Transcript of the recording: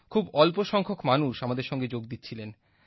খুব অল্প সংখ্যক মানুষ আমাদের সঙ্গে যোগ দিচ্ছিলেন